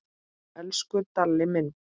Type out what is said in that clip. Elsku Dalli minn.